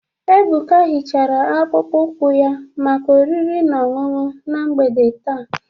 Ebuka hichara akpụkpọ ụkwụ ya maka oriri na ọṅụṅụ na mgbede taa.